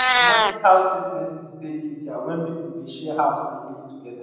to manage house expenses dey easier when people dey share house and live together